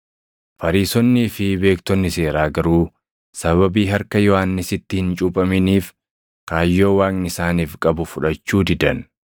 Fariisonnii fi beektonni seeraa garuu sababii harka Yohannisitti hin cuuphaminiif kaayyoo Waaqni isaaniif qabu fudhachuu didan.